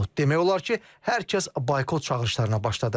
Demək olar ki, hər kəs boykot çağırışlarına başladı.